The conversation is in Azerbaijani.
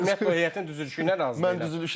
Mən ümumiyyətlə heyətin düzülüşünə razı deyiləm.